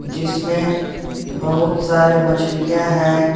जिसमें बहोत सारे मछलियां है।